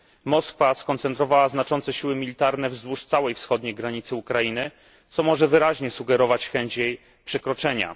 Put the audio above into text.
Moskwa skoncentrowała znaczące siły militarne wzdłuż całej wschodniej granicy Ukrainy, co może wyraźnie sugerować chęć jej przekroczenia.